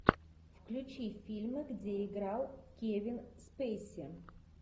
включи фильмы где играл кевин спейси